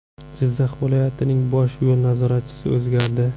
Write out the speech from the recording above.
Jizzax viloyatining bosh yo‘l nazoratchisi o‘zgardi.